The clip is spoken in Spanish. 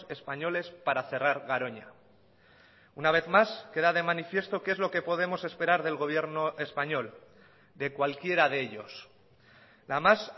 españoles para cerrar garoña una vez más queda de manifiesto qué es lo que podemos esperar del gobierno español de cualquiera de ellos la más